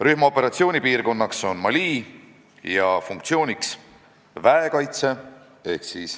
Rühma operatsioonipiirkonnaks on Mali ja funktsiooniks väekaitse.